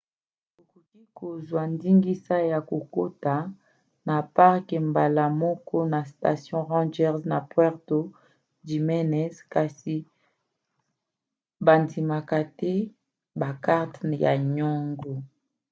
okoki kozwa ndingisa ya kokota na parke mbala moko na station ranger na puerto jiménez kasi bandimaka te bakarte ya nyongo